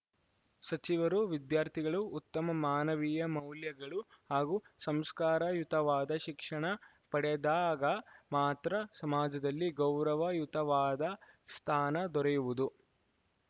ಸಚಿವರು ವಿದ್ಯಾರ್ಥಿಗಳು ಉತ್ತಮ ಮಾನವೀಯ ಮೌಲ್ಯಗಳು ಹಾಗೂ ಸಂಸ್ಕಾರಯುತವಾದ ಶಿಕ್ಷಣ ಪಡೆದಾಗ ಮಾತ್ರ ಸಮಾಜದಲ್ಲಿ ಗೌರವಯುತವಾದ ಸ್ಥಾನ ದೊರೆಯುವುದು